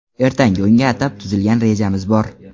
Ertangi o‘yinga atab tuzilgan rejamiz bor.